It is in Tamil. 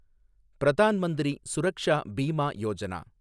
பிரதான் மந்திரி சுரக்ஷா பீமா யோஜனா